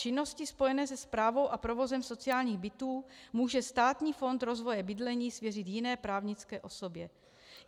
Činnosti spojené se správou a provozem sociálních bytů může Státní fond rozvoje bydlení svěřit jiné právnické osobě.